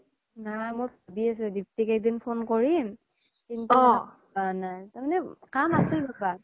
নাই মই ভাবি আছিলো দিপ্তিক এদিন phone কৰিম কিন্তু মানে কাম আছিল ৰবা